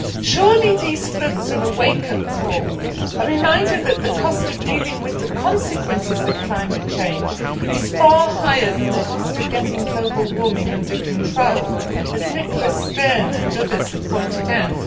Surely these floods are a wake up call, a reminder that the cost of dealing with the consequences of climate change is far higher than the cost of getting global warming under control, as Nicholas Stern and others have pointed out.